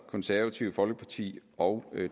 konservative folkeparti og